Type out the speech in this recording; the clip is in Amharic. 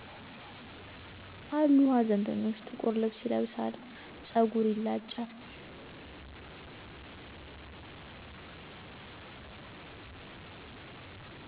አሉ ሀዘንተኞች ጥቁር ልብስ ይለብሳል። ፀጉር ይላጫል።